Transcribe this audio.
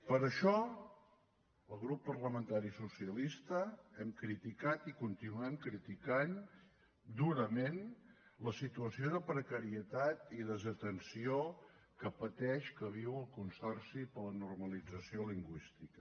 per això el grup parlamentari socialista hem criticat i continuem criticant durament la situació de precarietat i desatenció que pateix que viu el consorci per a la normalització lingüística